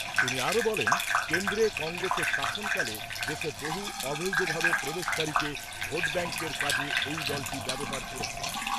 তিনি আরও বলেন, কেন্দ্রে কংগ্রেসের শাসনকালে দেশে বহু অবৈধভাবে প্রবেশকারীকে ভোট ব্যাঙ্কের কাজে এই দলটি ব্যবহার করেছে।